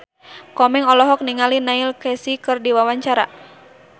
Komeng olohok ningali Neil Casey keur diwawancara